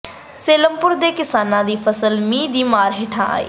ਸਲੇਮਪੁਰ ਦੇ ਕਿਸਾਨਾਂ ਦੀ ਫ਼ਸਲ ਮੀਂਹ ਦੀ ਮਾਰ ਹੇਠ ਆਈ